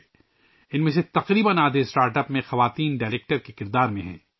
ان میں سے تقریباً آدھے اسٹارٹ اپس میں ڈائریکٹر کے کردار میں خواتین ہیں